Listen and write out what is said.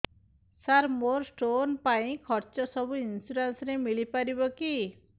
ସାର ମୋର ସ୍ଟୋନ ପାଇଁ ଖର୍ଚ୍ଚ ସବୁ ଇନ୍ସୁରେନ୍ସ ରେ ମିଳି ପାରିବ କି